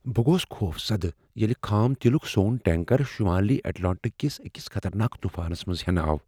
بہٕ گوس خوفزدہ ییٚلہ خام تیلک سون ٹینکر شمٲلی اٹلانٹک کس أکس خطرناک طوفانس منٛز ہینہٕ آو۔